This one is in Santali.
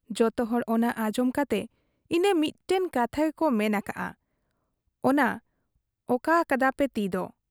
ᱡᱚᱛᱚᱦᱚᱲ ᱚᱱᱟ ᱟᱸᱡᱚᱢ ᱠᱟᱛᱮ ᱤᱱᱟᱹ ᱢᱤᱫᱴᱟᱹᱝ ᱠᱟᱛᱷᱟ ᱜᱮᱠᱚ ᱢᱮᱱ ᱟᱠᱟᱜ ᱟ ᱚᱱᱟ ᱠᱟᱫ ᱟ ᱯᱮ ᱛᱤᱫᱚ ᱾